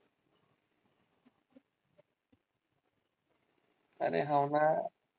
अरे हो ना.